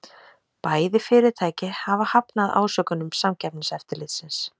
Bæði fyrirtæki hafa hafnað ásökunum Samkeppniseftirlitsins